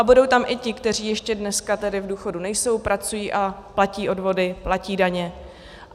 A budou tam i ti, kteří ještě dneska tedy v důchodu nejsou, pracují a platí odvody, platí daně.